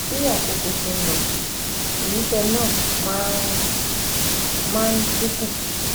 Bí àkókò ṣe ń lọ, ìmúṣe náà máa ń máa ń dín kù